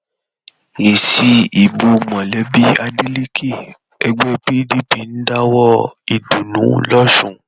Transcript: èsì ìbò mólébé adélèkè ẹgbẹ pdp ń dáwọọ ìdùnnú lọsùn